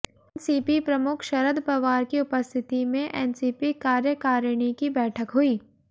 NCP प्रमुख शरद पवार की उपस्थिती में एनसीपी कार्यकारीणी की बैठक हुई